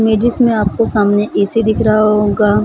Images में आपको सामने ए.सी. दिख रहा होगा।